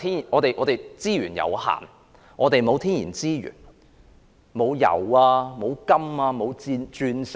我們資源有限，沒有天然資源，沒有油、金和鑽石。